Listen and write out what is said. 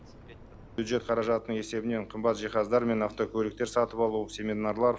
бюджет қаражатының есебінен қымбат жиһаздар мен автокөліктер сатып алу семинарлар